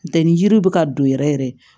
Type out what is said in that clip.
N tɛ ni yiriw bɛ ka don yɛrɛ yɛrɛ